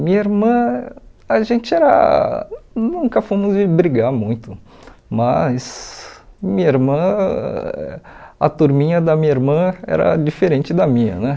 Minha irmã, a gente era nunca fomos de brigar muito, mas minha irmã a turminha da minha irmã era diferente da minha né.